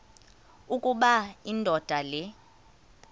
ukuba indoda le